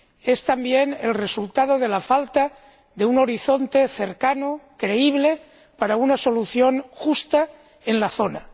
es también el resultado de la falta de un horizonte cercano, creíble, para una solución justa en la zona.